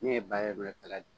Ne ye